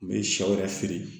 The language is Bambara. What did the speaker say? U bɛ shɛ wɛrɛ feere